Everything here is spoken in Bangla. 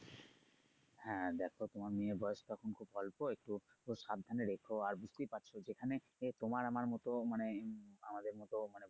হ্যা দেখো তোমার মেয়ের বয়স তখন খুব অল্প একটু সাবধানে রেখো আর বুঝতেই পারছো যেখানে আহ তোমার আমার মতো মানে আমাদের মতো।